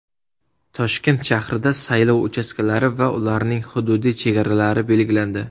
Toshkent shahrida saylov uchastkalari va ularning hududiy chegaralari belgilandi.